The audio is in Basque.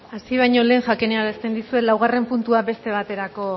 hasi baino lehen jakinarazten dizuet laugarren puntua beste baterako